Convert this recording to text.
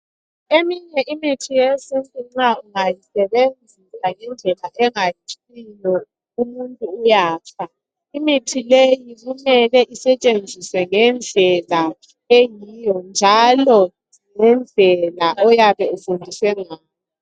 Eminye imithi yesintu nxa ungayisebenzisa ngendlela engayisiyo umuntu uyafa imithi leyi kumele isetshenziswe ngendlela eyiwo njalo ngendlela oyabe ufundiswe ngayo